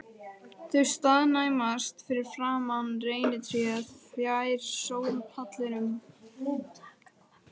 Þau staðnæmast fyrir framan reynitréð fjær sólpallinum.